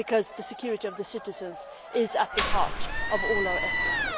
The security of citizens is at the heart of all our efforts.